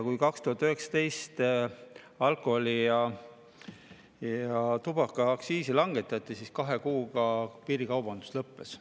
Kui 2019 alkoholi- ja tubakaaktsiisi langetati, siis kahe kuuga piirikaubandus lõppes.